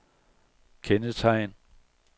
kendetegn